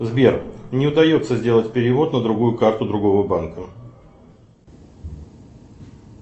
сбер не удается сделать перевод на другую карту другого банка